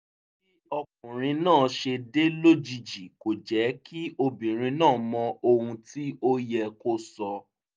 bí ọkùnrin náà ṣe dé lójijì kò jẹ́ kí obìnrin náà mọ ohun tí ó yẹ kó sọ